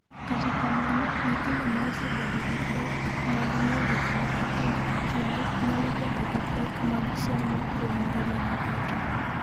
"Kata kamano, nyithindo ma osebedo gi pek mag ng’iyo gik moko kinde ka kinde nyalo bedo gi pek mag somo kuom ngimagi duto."